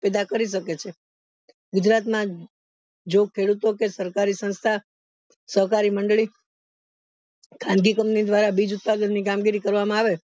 પેદા કરી શકે છે ગુજરાત માં જો ખેડુંતો કે સરકારી સંસ્થા સહકારી મંડળી ખાનગી company દ્વારા બીજ ઉત્પાદન ની કામગીરી કરવામાં આવે